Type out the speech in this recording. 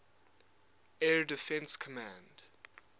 air defense command